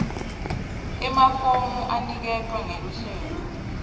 emafomu aniketwa ngeluhlelo